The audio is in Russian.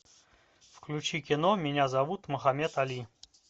включи кино меня зовут мохаммед али